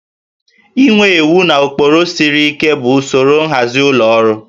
Inwe iwu na ụkpụrụ siri ike bụ usoro nhazi ụlọ ọrụ